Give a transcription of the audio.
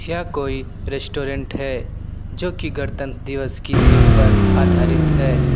यह कोई रेस्टोरेंट है जो कि गड़तंत्र दिवस की थीम पर आधारित है।